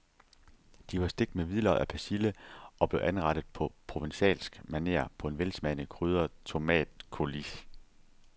De var stegt med hvidløg og persille og blev anrettet på provencalsk maner på en velsmagende krydret tomatcoulis.